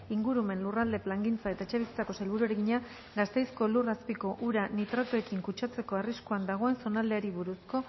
ingurumen lurralde plangintza eta etxebizitzako sailburuari egina gasteizko lur azpiko ura nitratoekin kutsatzeko arriskuan dagoen zonaldeari buruzko